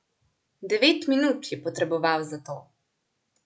Devet minut je potreboval za to.